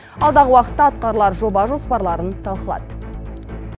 алдағы уақытта атқарылар жоба жоспарларын талқылады